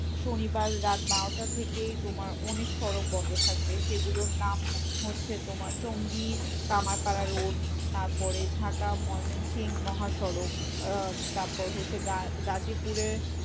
শনিবার রাত বারোটা থেকেই তোমার অনেক সড়ক বন্ধ থাকবে। সেগুলোর নাম মনে হচ্ছে, তোমার চঙ্গি, কামারপাড়া রোড তারপরে ঢাকা ময়মনসিংহ মহাসড়ক আহ তারপর হচ্ছে গা~ গাজীপুরের